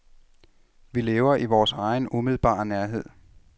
Vi lever i vores egen umiddelbare nærhed.